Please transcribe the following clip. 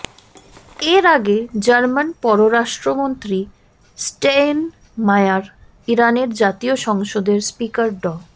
এর আগে জার্মান পররাষ্ট্রমন্ত্রী স্টেইনমায়ার ইরানের জাতীয় সংসদের স্পিকার ড